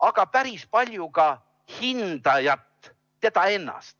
aga päris palju ka hindajat ennast.